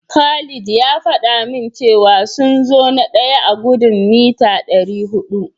Khalil ya faɗa min cewa sun zo na daya a gudun mita dari hudu.